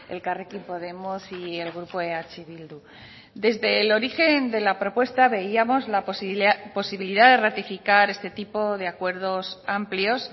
elkarrekin podemos y el grupo eh bildu desde el origen de la propuesta veíamos la posibilidad de ratificar este tipo de acuerdos amplios